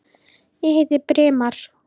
Ég heiti Brimar.